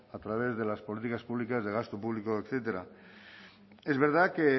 a través de las políticas públicas de gasto público etcétera es verdad que